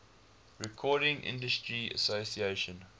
recording industry association